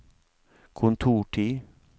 kontortid